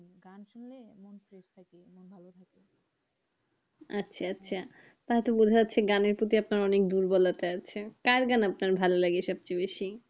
আচ্ছা আচ্ছা তাইতো বোজা যাচ্ছে গানের প্রতি আপনার অনিক দুর্বলতা আছে, কার গান আপনার ভালো লাগে সবচেয়ে বেশি?